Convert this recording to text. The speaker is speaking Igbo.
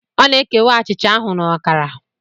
Ọ na-ekewa achịcha ahụ na ọkara.